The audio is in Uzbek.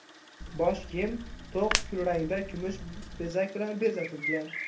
Bosh kiyim to‘q kulrangda kumush bezak bilan bezatilgan.